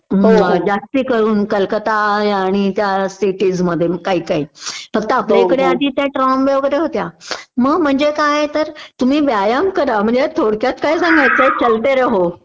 जास्तीकरून कलकत्ता आणि या त्या सिटीज मध्ये काही काही फक्त आपल्याइकडे आधी त्या ट्रॉमवे वगैरे होत्या मग म्हणजे काय तर तुम्ही व्यायाम करा म्हणजे थोडक्यात काय सांगायचंय चलते रहो